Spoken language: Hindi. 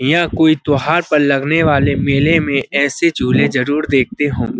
यहाँ कोई त्योहार पर लगने वाले मेले में ऐसे झूले जरूर देखते होंगे।